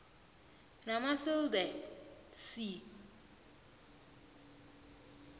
namasil the sea